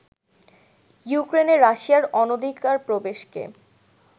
ইউক্রেনে রাশিয়ার অনধিকার প্রবেশকে